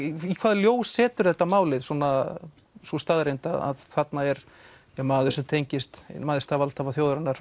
í hvaða ljós setur þetta málið sú staðreynd að þarna er maður sem tengist einum æðsta valdhafa þjóðarinnar